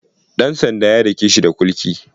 Ɗan sanda ya dake shi da kulki.